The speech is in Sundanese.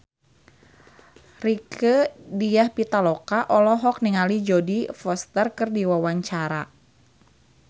Rieke Diah Pitaloka olohok ningali Jodie Foster keur diwawancara